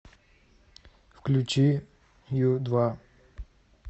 включи ю два